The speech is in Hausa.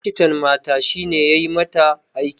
Likitan mata shine yayi mata aiki